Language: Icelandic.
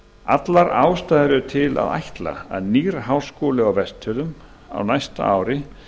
allar ástæður eru til að ætla að nýr háskóli á vestfjörðum á næsta ári